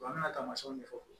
An ka taamayɛnw de fɔ